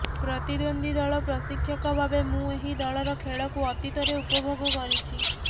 ପ୍ରତିଦ୍ବନ୍ଦ୍ବୀ ଦଳ ପ୍ରଶିକ୍ଷକ ଭାବେ ମୁଁ ଏହି ଦଳର ଖେଳକୁ ଅତୀତରେ ଉପଭୋଗ କରିଛି